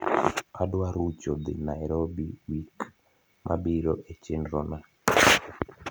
adwa rucho dhi Nairobi wik mabiro e chenrona